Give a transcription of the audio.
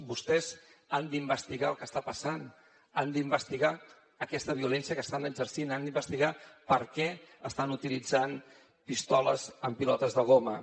vostès han d’investigar el que està passant han d’investigar aquesta violència que estan exercint han d’investigar per què estan utilitzant pistoles amb pilotes de goma